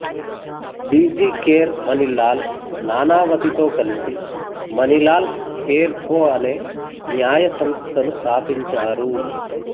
B G Kher Manilal నానావతితో కలిసి Manilal Kher co అనే న్యాయ సంస్థను స్థాపించారు